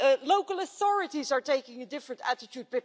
Local authorities are taking a different attitude.